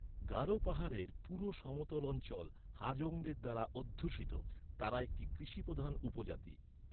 গারো পাহাড়ের পুরো সমতল অঞ্চল হাজংদের দ্বারা অধ্যুষিত, তারা একটি কৃষিপ্রধান উপজাতি।